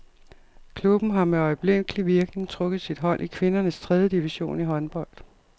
Klubben har med øjeblikkelig virkning trukket sit hold i kvindernes tredje division i håndbold.